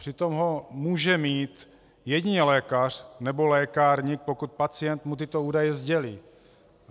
Přitom ho může mít jedině lékař nebo lékárník, pokud pacient mu tyto údaje sdělí.